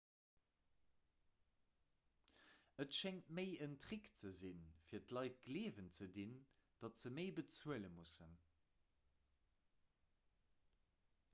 et schéngt méi en trick ze sinn fir d'leit gleewen ze dinn datt se méi bezuele mussen